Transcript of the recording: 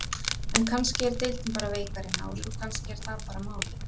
En kannski er deildin bara veikari en áður og kannski er það bara málið?